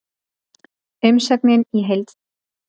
Umsögnin í heild